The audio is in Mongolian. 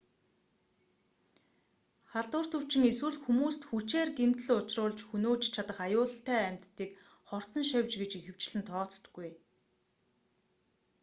халдварт өвчин эсвэл хүмүүст хүчээр гэмтэл учруулж хөнөөж чадах аюултай амьтдыг хортон шавж гэж ихэвчлэн тооцдоггүй